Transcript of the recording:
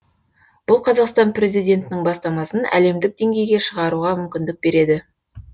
бұл қазақстан президентінің бастамасын әлемдік деңгейге шығаруға мүмкіндік береді